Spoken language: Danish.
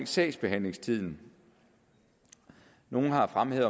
sagsbehandlingstiden nogle har fremhævet